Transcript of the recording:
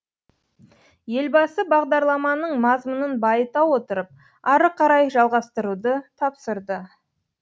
елбасы бағдарламаның мазмұнын байыта отырып ары қарай жалғастыруды тапсырды